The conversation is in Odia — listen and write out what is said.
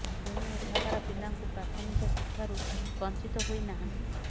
ତେଣୁ ଏଠାକାର ପିଲାଙ୍କୁ ପ୍ରାଥମିକ ଶିକ୍ଷାରୁ ବଞ୍ଚିତ ହୋଇ ନାହାନ୍ତି